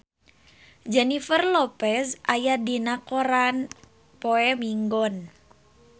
Jennifer Lopez aya dina koran poe Minggon